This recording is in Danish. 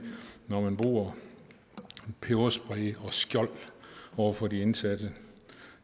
når man bruger peberspray og skjold over for de indsatte